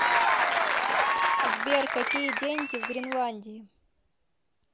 сбер какие деньги в гренландии